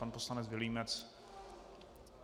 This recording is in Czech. Pan poslanec Vilímec.